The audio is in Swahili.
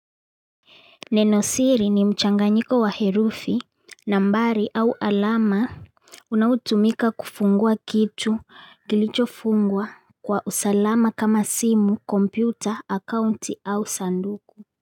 Nenosiri ni mchanganyiko wa herufi, nambari au alama unaotumika kufungua kitu, kilicho fungwa Kwa usalama kama simu, kompyuta, akaunti au sanduku.